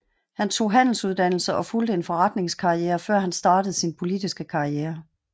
Han tog handelsuddannelse og fulgte en forretningskarriere før han startede sin politiske karriere